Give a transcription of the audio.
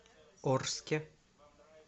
орске